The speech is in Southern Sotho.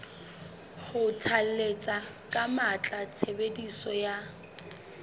kgothalletsa ka matla tshebediso ya